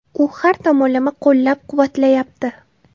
U har tomonlama qo‘llab-quvvatlayapti.